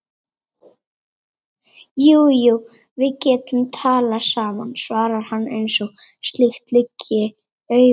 Jú jú, við getum talað saman, svarar hann eins og slíkt liggi í augum uppi.